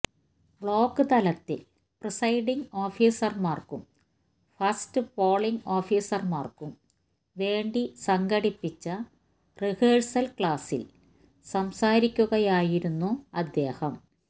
block തലത്തില് presiding ഓഫീസര്മാര്ക്കും first polling ഓഫീസര്മാര്ക്കും വേണ്ടി സംഘടിപ്പിച്ച റിഹേഴ്സല് ക്ലാസ്സില് സംസാരിക്കുകയായിരുന്നു അദ്ദേഹം